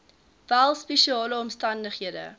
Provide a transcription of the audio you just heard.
wel spesiale omstandighede